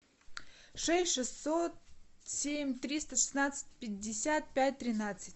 шесть шестьсот семь триста шестнадцать пятьдесят пять тринадцать